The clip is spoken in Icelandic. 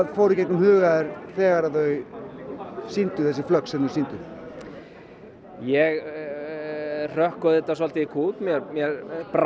fór í gegnum huga þér þegar þau sýndu þessi flögg sem þau sýndu ég hrökk auðvitað svolítið í kút mér brá